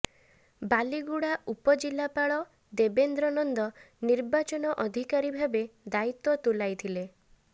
ବାଲିଗୁଡା ଉପଜିଲାପାଳ ଦେବେନ୍ଦ୍ର ନନ୍ଦ ନିର୍ବାଚନ ଅଧିକାରୀ ଭାବେ ଦାୟିତ୍ୱ ତୁଲାଇଥିଲେ